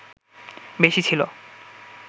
বেশি ছিলো